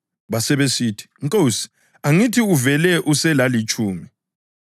Basebesithi, ‘Nkosi, angithi uvele uselalitshumi?’